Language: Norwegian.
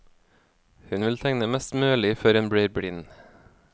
Hun vil tegne mest mulig før hun blir blind.